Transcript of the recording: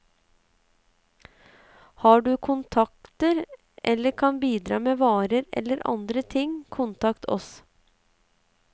Har du kontakter, eller kan bidra med varer eller andre ting, kontakt oss.